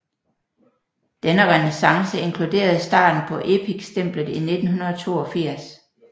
Denne renæssance inkluderede starten på Epic stemplet i 1982